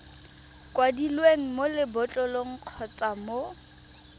kwadilweng mo lebotlolong kgotsa mo